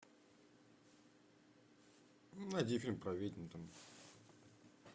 найди фильм про ведьм там